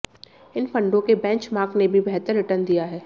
इन फंडों के बेंचमार्क ने भी बेहतर रिटर्न दिया है